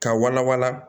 Ka wala wala